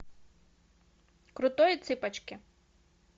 крутой и цыпочки